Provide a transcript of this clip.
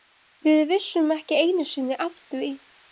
Við vissum ekki einusinni af því.